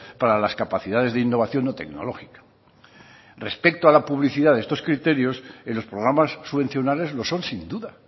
para las capacidades de innovación no tecnológica respecto a la publicidad de estos criterios en los programas subvencionales lo son sin duda